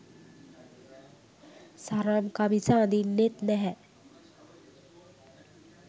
සරම් කමිස අදින්නෙත් නැහැ